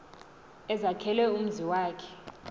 ezakhela umzi wakhe